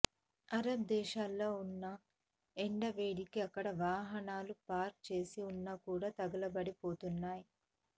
Arab దేశాల్లో ఉన్న ఎండ వేడికి అక్కడ వాహనాలు పార్క్ చేసి ఉన్నా కూడా తగులబడి పోతున్నాయి